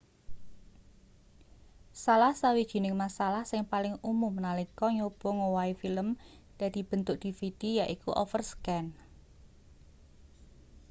salah sawijining masalah sing paling umum nalika nyoba ngowahi film dadi bentuk dvd yaiku overscan